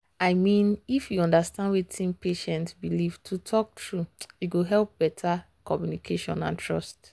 i mean if you understand wetin patient believe to talk true e go help better communication and trust.